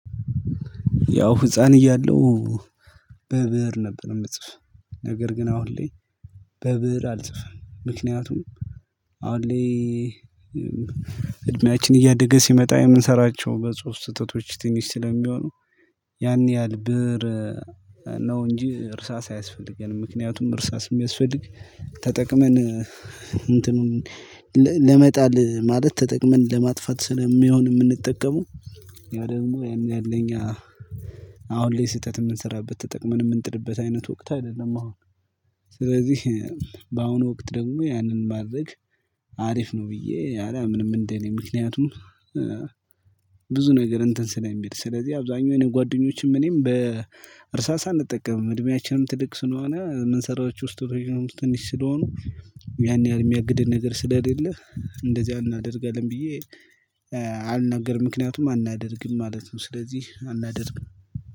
ያው ህፃን እያለሁ በብእር ነበር ምጽፍ። ነገር ግን አሁን ላይ በብእር አልጽፍም ምክንያቱም አሁን ላይ እድሜያችን እያደገ ሲመጣ የምንሰራቸው በጽሁፍ ስህተቶች ትንሽ ስለሚሆኑ ያን ያህል ብእር ነው እንጂ እርሳስ አያስፈልገንም። ምክንያቱም እርሳስም የሚያስፈልግ ተጠቅመን እንትኑን ለመጣል ማለት ተጠቅመን ለማጥፋት ስለሚሆን የምንጠቀመው ያ ደግሞ ያን ያለ እኛ ላይ ስህተት የምንሰራበት ተጠቅመን የምንጥልበት አይነት ወቅት አይደለም አሁን ስለዚህ በአሁኑ ወቅት ደግሞ ያንን ማድረግ አሪፍ ነው ብዬ አላምንም። እንደኔ ምክንያቱም ነገር እንትን ስለሚል ስለዚህ አብዛኛው የኔ ጓደኞችም እኔም በእርሳሳ እንጠቀምም እድሜያችንም ትልቅ ስለሆነ የምንሰራቸው ስተቶችም ትንሽ ስለሆኑ ያን ያህል የሚያግድን ነገር ስለሌለ እንደዚያ አናደርጋለን ብዬ አልናገርም ምክንያቱም አናደርግም ማለት ነው። ስለዚህ አናደርግም